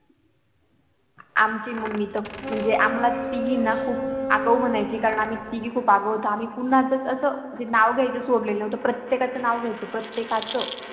आमची MUMMY तर म्हणजे आम्हाला तिघीना खूप आगाऊ म्हणायची कारण आम्ही तिघी खूप आगाऊ होतो आम्ही पूर्ण असाच असं जे नाव घ्यायचं सोडल होत प्रत्येकच नाव घ्यायचो प्रत्येकाचं आम्ही